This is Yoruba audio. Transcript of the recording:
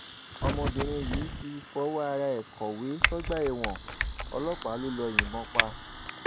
ọmọbìnrin yìí ti fọwọ ara ẹ kọwé sọgbà ẹwọn ọlọpàá ló yìnbọn pa